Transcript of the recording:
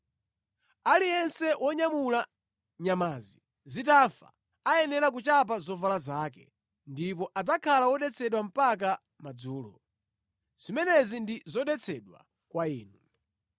Aliyense wonyamula nyamazi zitafa ayenera kuchapa zovala zake, ndipo adzakhala wodetsedwa mpaka madzulo. Zimenezi ndi zodetsedwa kwa inu.